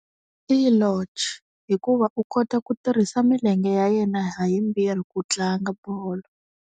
I hikuva u kota ku tirhisa milenge ya yena ha yimbirhi ku tlanga bolo.